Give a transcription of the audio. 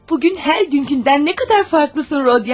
Bugün hər günküdən nə qədər fərqlisən, Rodiya!